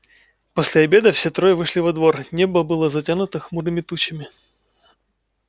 после обеда все трое вышли во двор небо было затянуто хмурыми тучами